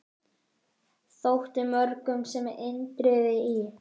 Þótti mörgum sem Indriði í